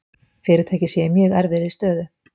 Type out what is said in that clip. Fyrirtækið sé í mjög erfiðri stöðu